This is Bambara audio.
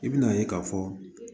I bi na ye k'a fɔ